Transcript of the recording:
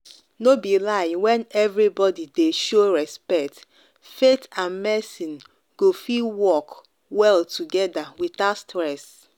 no be lie when everybody dey show respect faith and medicine go fit work well together without stress.